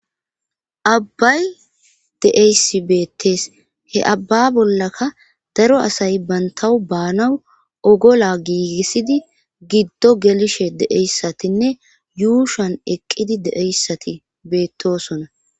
abbay de7eysi beettes he abba bollaka daro asay bantawu baanaw ogola giigissidi giddo gelishe deeyssatinne yuushan eqqidi deeyssati beettosona